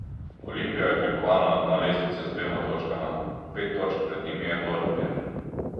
Olimpija je prikovana na dno lestvice z dvema točkama, pet točk pred njimi je Dornbirn.